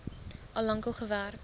al lank gewerk